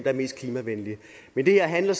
er mest klimavenlige men det her handler